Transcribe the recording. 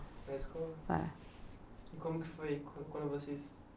Na escola? É. E como que foi quando vocês se